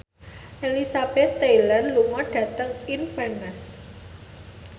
Elizabeth Taylor lunga dhateng Inverness